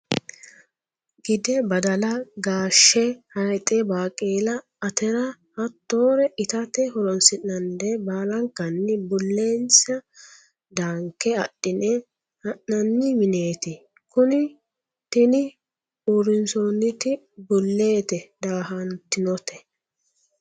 Gidde badala gaashe hayixe baqella atara hattore itate horonsi'nannire baallankanni bulesine danke adhine ha'nanni mineti kuni tini uurrinsonniti bulete dahatinote.